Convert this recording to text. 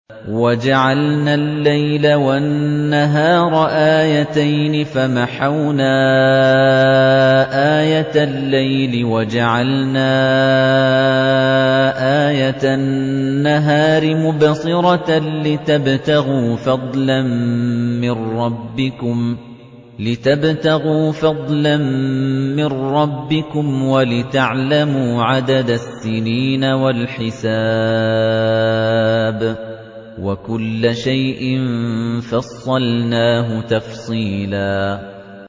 وَجَعَلْنَا اللَّيْلَ وَالنَّهَارَ آيَتَيْنِ ۖ فَمَحَوْنَا آيَةَ اللَّيْلِ وَجَعَلْنَا آيَةَ النَّهَارِ مُبْصِرَةً لِّتَبْتَغُوا فَضْلًا مِّن رَّبِّكُمْ وَلِتَعْلَمُوا عَدَدَ السِّنِينَ وَالْحِسَابَ ۚ وَكُلَّ شَيْءٍ فَصَّلْنَاهُ تَفْصِيلًا